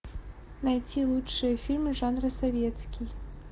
найти лучшие фильмы жанра советский